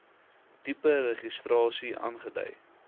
tipe registrasie aandui